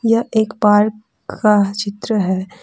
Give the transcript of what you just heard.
यह एक पार्क का चित्र है।